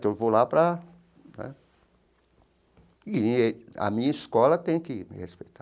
Então eu vou lá para né... E a minha escola tem que me respeitar.